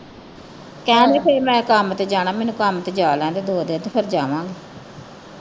ਕਹਿਣ ਦੀ ਫਿਰ ਮੈ ਕੰਮ ਤੇ ਜਾਣਾ ਮੈਨੂੰ ਕੰਮ ਤੇ ਜਾ ਲੈਣ ਦੇ ਦੋ ਦਿਨ ਤੇ ਫਿਰ ਜਾਵਾਗੇ।